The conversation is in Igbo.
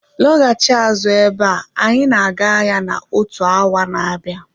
Lọghachi azụ abea anyị na-aga ahịa na otu awa n'abia